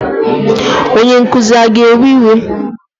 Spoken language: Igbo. Onye nkụzi a ga-ewe iwe?